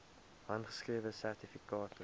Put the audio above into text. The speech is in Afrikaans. handgeskrewe sertifikate